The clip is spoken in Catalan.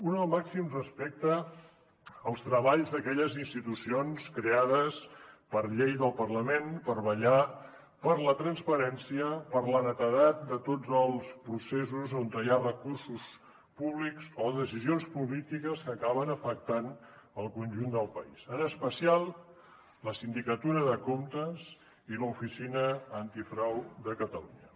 una el màxim respecte als treballs d’aquelles institucions creades per llei del parlament per vetllar per la transparència per la netedat de tots els processos on hi ha recursos públics o decisions polítiques que acaben afectant el conjunt del país en especial la sindicatura de comptes i l’oficina antifrau de catalunya